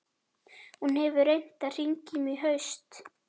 Hún hefur reynt að hringja í mig í haust.